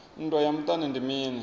nndwa ya muṱani ndi mini